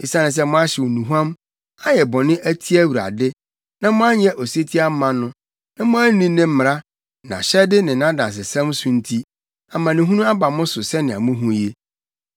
Esiane sɛ moahyew nnuhuam, ayɛ bɔne atia Awurade, na moanyɛ osetie amma no, na moanni ne mmara, nʼahyɛde ne nʼadansesɛm so nti, amanehunu aba mo so sɛnea muhu yi.”